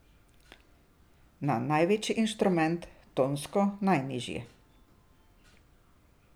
Na največji inštrument, tonsko najnižji.